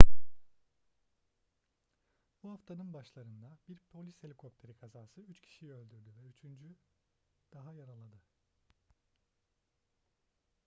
bu haftanın başlarında bir polis helikopteri kazası üç kişiyi öldürdü ve üçünü daha yaraladı